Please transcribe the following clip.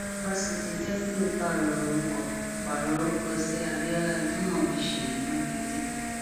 fásitì pààrọ orúkọ pààrọ orúkọ sí abiola ajimobi ṣèyí makinde